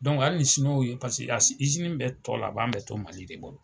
hali ni Siniwaw ye, paseke bɛɛ tɔ laban bɛ to mali de bolo.